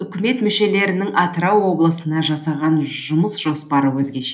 үкімет мүшелерінің атырау облысына жасаған жұмыс жоспары өзгеше